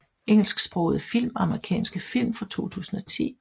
Engelsksprogede film Amerikanske film fra 2010